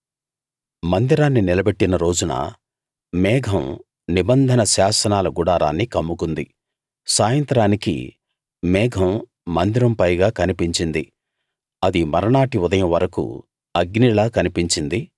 మందిరాన్ని నిలబెట్టిన రోజున మేఘం నిబంధన శాసనాల గుడారాన్ని కమ్ముకుంది సాయంత్రానికి మేఘం మందిరం పైగా కనిపించింది అది మర్నాటి ఉదయం వరకూ అగ్నిలా కనిపించింది